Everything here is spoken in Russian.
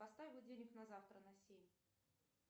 поставь будильник на завтра на семь